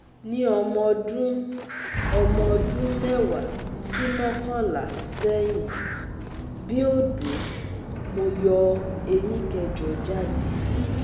ní ọmọ ọdún ọmọ ọdún mẹ́wàá sí mọ́kànlá seyin bi odo, mo yo eyín kẹjọ jáde